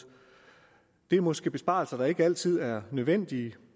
det er måske besparelser der ikke altid er nødvendige